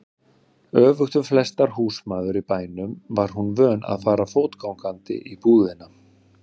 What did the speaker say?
Öfugt við flestar húsmæður í bænum var hún vön að fara fótgangandi í búðina.